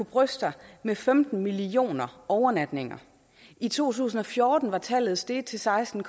bryste sig med femten millioner overnatninger i to tusind og fjorten var tallet steget til seksten